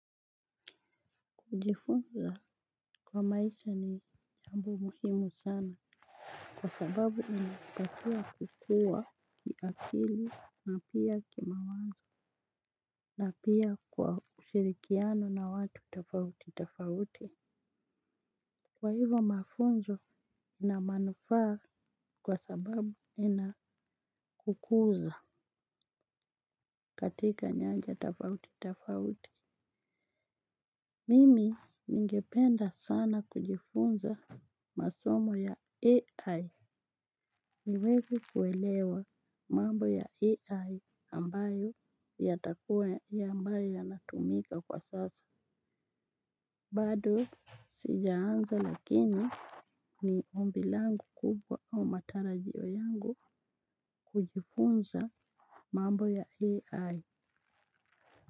Kujifunza kwa maisha ni jambo muhimu sana. Kwa sababu unatakiwa kukua kiakili na pia kimawazo, na pia kwa kushirikiana na watu tofauti tofauti. Kwa hivo mafunzo ina manufaa kwa sababu inakukuza katika nyanja tofauti tofauti. Mimi ningependa sana kujifunza masomo ya AI. Niweze kuelewa mambo ya AI ambayo yatakua ya ambayo yanatumika kwa sasa. Bado sijaanza lakini ni ombi langu kubwa au matarajio yangu kujifunza mambo ya AI.